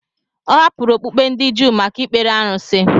Ọ hapụrụ okpukpe ndị Juu maka ikpere arụsị.